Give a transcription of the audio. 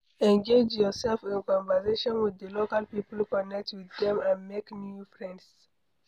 Engage yourself in conversation with di local people connect with dem and make new friends